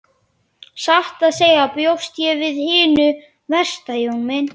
Satt að segja bjóst ég við hinu versta Jón minn.